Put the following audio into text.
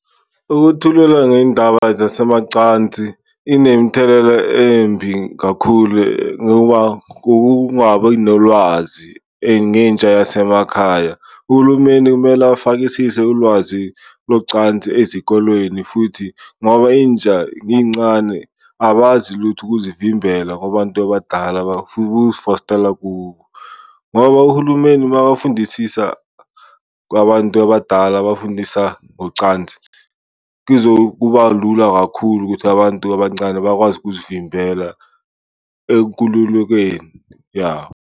Ukuthulela ngeyindaba zasemacansi inemthelela embi kakhulu ngoba kungabi nolwazi ngentsha yasemakhaya, uhulumeni kumele afakisise ulwazi locansi ezikolweni futhi ngoba intsha incane abazi lutho ukuzivimbela kubantu abadala bafuna ukizifostela kubo. Ngoba uhulumeni makafundisisa kwabantu abadala abafundisa ngocansi, kuzokuba lula kakhulu ukuthi abantu abancane bakwazi ukuvimbela ekululukeni, ya.